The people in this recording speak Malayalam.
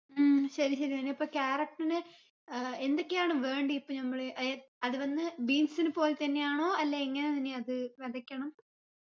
ഉം ശരി ശരി നനി അപ്പൊ carrot ന് ഏർ എന്തൊക്കെയാണ് വേണ്ടി ഇപ്പൊ നമ്മള് ഏർ അത് വന്ന് beans നെ പോലെ തന്നെയാണോ അല്ല എങ്ങനെയാ നനി അത് വെതയ്ക്കണം